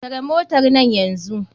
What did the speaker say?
Tare motarnan nan yanzu.